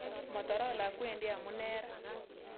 Motorola kwendi amune raa